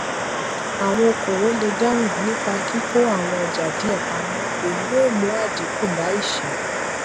awọn okowo le dahun nipa kikọ awọn ọja diẹ pamọ eyi yo mu adinku ba iṣẹ́